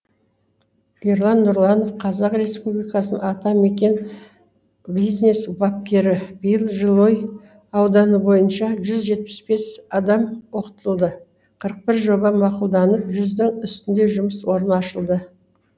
ерлан нұрланов қазақстан республикасы атамекен бизнес бапкері биыл жылыой ауданы бойынша жүз жетпіс бес адам оқытылды қырық бір жоба мақұлданып жүздің үстінде жұмыс орны ашылды